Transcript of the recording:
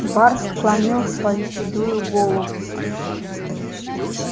бар склонил свою седую голову